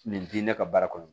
Nin di ne ka baara kɔnɔ